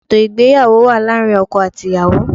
Ètò ìgbéyàwó wà láàrin ọkọ àti ìyàwó